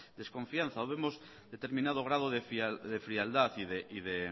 desconfianza o vemos determinado grado de frialdad